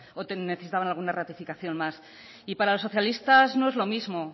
o necesitaban alguna ratificación más y para los socialistas no es lo mismo